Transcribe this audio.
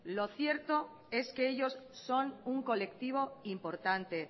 lo cierto es que ellos son un colectivo importante